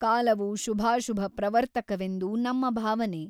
ಕಾಲವು ಶುಭಾಶುಭ ಪ್ರವರ್ತಕವೆಂದು ನಮ್ಮ ಭಾವನೆ.